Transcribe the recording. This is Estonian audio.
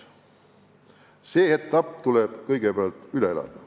See etapp tuleb kõigepealt üle elada.